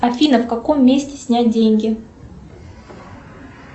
афина в каком месте снять деньги